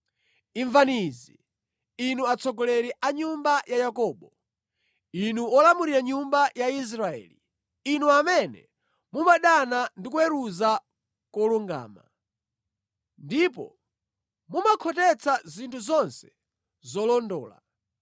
Imvani izi, inu atsogoleri a nyumba ya Yakobo, inu olamulira nyumba ya Israeli, inu amene mumadana ndi kuweruza kolungama; ndipo mumakhotetsa zinthu zonse zolondola;